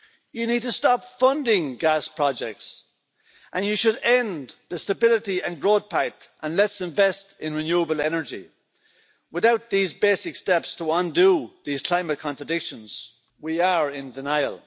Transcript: you need to stop funding gas projects, and you should end the Stability and Growth Pact and let's invest in renewable energy. Without these basic steps to undo these climate contradictions, we are in denial.